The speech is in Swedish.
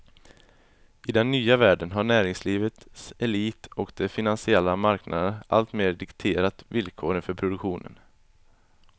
I den nya världen har näringslivets elit och de finansiella marknaderna alltmer dikterat villkoren för produktionen.